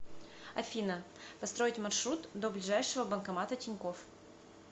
афина построить маршрут до ближайшего банкомата тинькофф